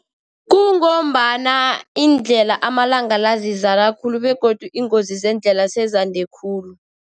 Kungombana iindlela amalanga la zizala khulu, begodu iingozi zeendlela sezande khulu.